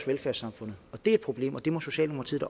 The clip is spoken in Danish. velfærdssamfundet det er et problem og det må socialdemokratiet